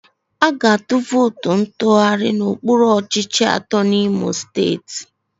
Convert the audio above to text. A ga-atụ vootu ntụgharị n'okpuru ọchịchị atọ n'Imo Steeti.